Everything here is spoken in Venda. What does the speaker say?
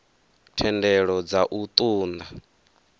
thendelo dza u ṱun ḓa